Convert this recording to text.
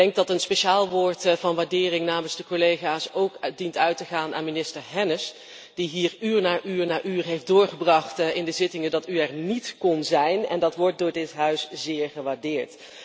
Ik denk dat een speciaal woord van waardering namens de collega's ook dient uit te gaan aan minister Hennis die hier uur na uur heeft doorgebracht in de zittingen dat u er niet kon zijn, en dat wordt door dit huis zeer gewaardeerd.